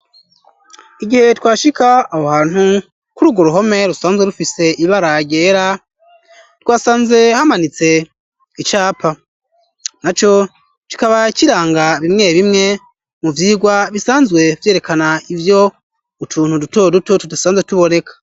Igihe twashika aho hantu k' urugo ruhome rusanzwe rufise ibara ryera twasanze hamanitse icapa naco kikaba kiranga bimwe bimwe mu vyirwa bisanzwe vyerekana ivyo utuntu duto duto tudasanzwe tuboneka.